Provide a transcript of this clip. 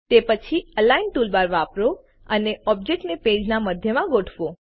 તે પછી align toolbar વાપરો અને ઓબ્જેક્ટને પેજના મધ્યમાં ગોઠવો